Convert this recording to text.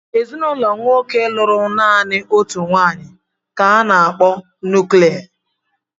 Ezinụlọ nwoke lụrụ naanị otu nwaanyị ka a na-akpọ nuklia.